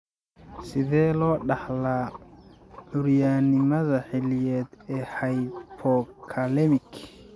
Sidee loo dhaxlaa curyaannimada xilliyeed ee hypokalemic?